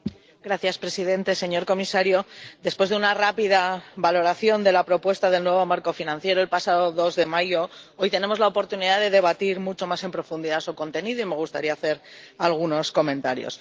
Señor presidente, señor comisario, después de una rápida valoración de la propuesta del nuevo marco financiero el pasado 2 de mayo, hoy tenemos la oportunidad de debatir mucho más en profundidad su contenido y me gustaría hacer algunos comentarios.